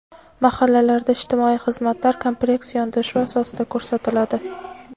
Mahallalarda ijtimoiy xizmatlar kompleks yondashuv asosida ko‘rsatiladi.